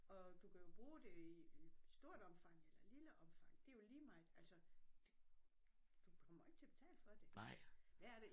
Og du kan jo bruge det i stort omfang eller lille omfang det jo lige meget altså du kommer ikke til at betale for det værre er det